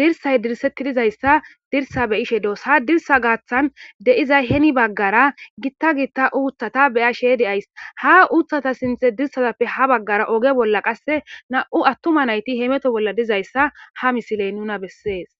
dirsay dirsetti dizayssa dirsa beyishe doos ha dirsa gaaththan de7izay heni baggara gitta giitta uuthata beyashe deays ha uuthata sinthe dirsazappe ha baggara oge bolla qasse na'u attuma nayti hemeto bolla dizayssa ha misiley nuna bessees.